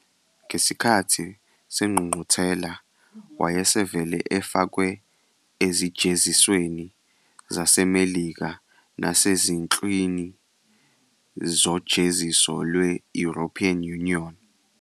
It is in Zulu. Ngesikhathi sengqungquthela wayesevele efakwe ezijezisweni zaseMelika nasezinhlwini zojeziso lwe-European Union.